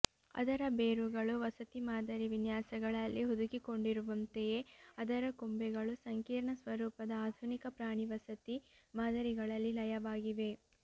ಅದರ ಬೇರುಗಳು ವಸತಿ ಮಾದರಿ ವಿನ್ಯಾಸಗಳಲ್ಲಿ ಹುದುಗಿಕೊಂಡಿರುವಂತೆಯೇ ಅದರ ಕೊಂಬೆಗಳು ಸಂಕೀರ್ಣ ಸ್ವರೂಪದ ಆಧುನಿಕ ಪ್ರಾಣಿ ವಸತಿ ಮಾದರಿಗಳಲ್ಲಿ ಲಯವಾಗಿವೆ